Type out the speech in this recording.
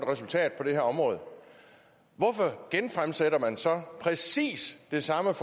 resultat på det her område hvorfor genfremsætter man så præcis det samme